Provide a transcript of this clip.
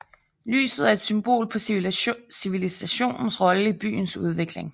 Lyset er et symbol på civilisationens rolle i byens udvikling